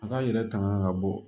A ka yɛrɛ tanga ka bɔ